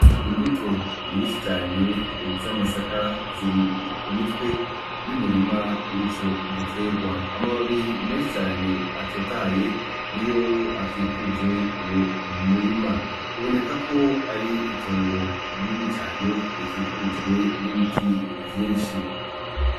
Imbuto nyinshi cane z'amasaka ziri ku mitwe y'umurima w'ico giterwa. Amababi menshi cane atotahaye niyo akikuje uwo murima. Biboneka ko ari itongo rinini cane rikikujwe n'ibiti vyinshi.